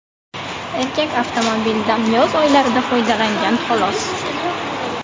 Erkak avtomobildan yoz oylarida foydalangan xolos.